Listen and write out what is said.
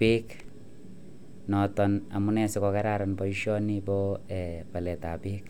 bek notonnebo balet ab bek